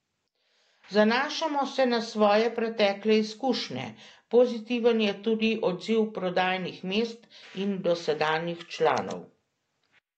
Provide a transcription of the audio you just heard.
Zanašamo se na svoje pretekle izkušnje, pozitiven je tudi odziv prodajnih mest in dosedanjih članov.